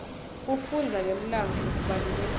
kufundza ngemlandvo kubalulekile